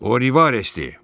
O Rivaresdir.